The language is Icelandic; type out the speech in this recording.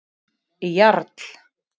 Jarl